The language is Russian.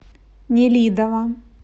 нелидово